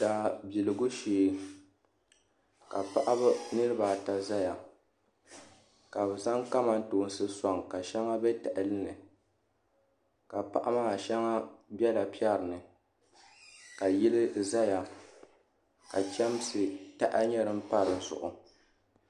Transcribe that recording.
Daa biligu shee ka paɣaba nirabaata ʒɛya ka bi zaŋ kamantoosi soŋ ka shɛŋa bɛ tahali ni ka paɣa maa shɛŋa bɛla piɛri ni ka yili ʒɛya ka chɛmsi taha nyɛ din pa dizuɣu